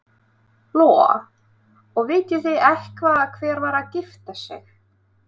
Lóa: Og vitið þið eitthvað hver var að gifta sig?